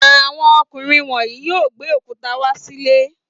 Àwọn ọkùnrin wọ̀nyí yóò gbé òkúta wá sílé.